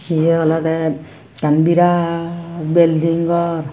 yie olodey ekkan birat belding gor.